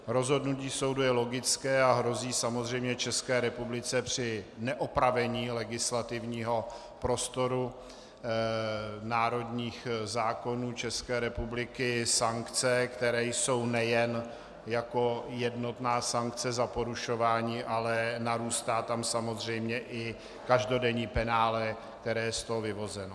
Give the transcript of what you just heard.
Rozhodnutí soudu je logické a hrozí samozřejmě České republice při neopravení legislativního prostoru národních zákonů České republiky sankce, které jsou nejen jako jednotná sankce za porušování, ale narůstá tam samozřejmě i každodenní penále, které je z toho vyvozeno.